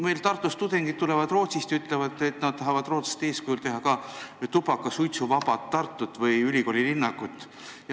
Meil Tartus Rootsist tulnud tudengid ütlevad, et nad tahavad Rootsi eeskujul teha ka tubakasuitsuvaba Tartut või ülikoolilinnakut.